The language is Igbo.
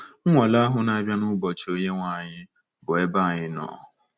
Nwale ahụ na-abịa n’ụbọchị Onyenwe anyị, bụ́ ebe anyị nọ.